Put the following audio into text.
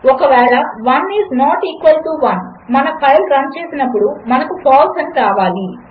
ఒకవేళ 1 ఈస్నాట్ఈక్వల్టు 1 మనఫైల్రన్చేసినప్పుడుమనకు ఫాల్సే అనిరావాలి